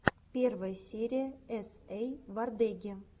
первая серия эс эй вордеги